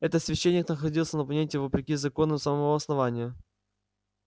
этот священник находился на планете вопреки законам самого основания